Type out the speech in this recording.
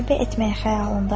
Sahibi etməyi xəyalımdayam.